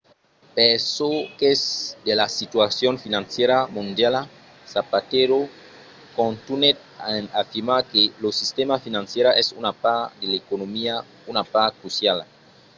per çò qu'es de la situacion financièra mondiala zapatero contunhèt en afirmar que lo sistèma financièra es una part de l'economia una part cruciala